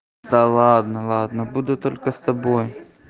да ладно ладно буду только с тобой